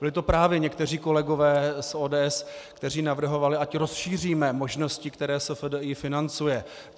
Byli to právě někteří kolegové z ODS, kteří navrhovali, ať rozšíříme možnosti, které SFDI financuje.